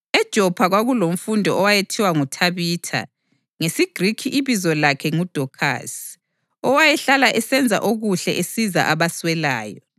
EJopha kwakulomfundi owayethiwa nguThabitha (ngesiGrikhi ibizo lakhe nguDokhasi), owayehlala esenza okuhle esiza abaswelayo.